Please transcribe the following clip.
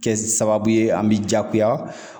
Kɛ sababu ye an bɛ jagoya